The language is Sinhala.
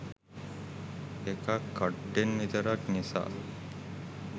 එකක් කඩ්ඩෙන් විතරක් නිසා